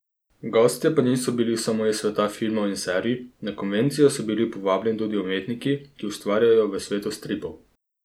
Gostje pa niso bili samo iz sveta filma in serij, na konvencijo so bili povabljeni tudi umetniki, ki ustvarjajo v svetu stripov.